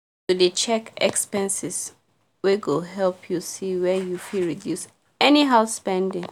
to dey check expenses well go help you see wer you fit reduce anyhow spending